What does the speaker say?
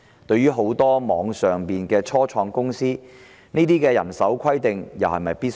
對於很多網上初創公司，這些人手規定又是否必要？